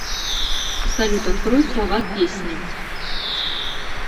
салют открой слова песни